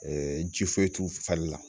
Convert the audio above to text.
falela.